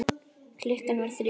Klukkan var þrjú.